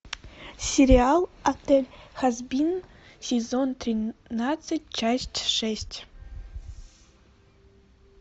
сериал отель хазбин сезон тринадцать часть шесть